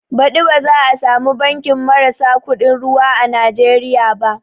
Baɗi ba za a samu banki marasa kuɗin ruwa a Nijeriya ba